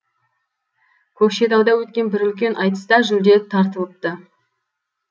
көкшетауда өткен бір үлкен айтыста жүлде тартылыпты